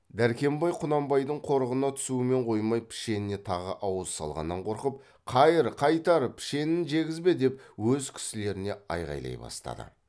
дәркембай құнанбайдың қорығына түсумен қоймай пішеніне тағы ауыз салғаннан қорқып қайыр қайтар пішенін жегізбе деп өз кісілеріне айғайлай бастады